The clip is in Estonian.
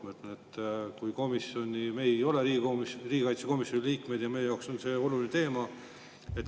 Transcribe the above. Ma ütlen, et meie ei ole Riigikogu riigikaitsekomisjoni liikmed ja meile on see oluline teema.